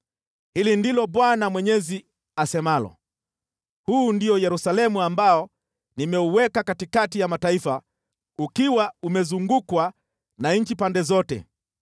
“Hili ndilo Bwana Mwenyezi asemalo: Huu ndio Yerusalemu ambao nimeuweka katikati ya mataifa ukiwa umezungukwa na nchi pande zote.